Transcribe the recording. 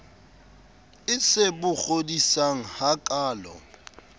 e se bo kgodisang hakaalo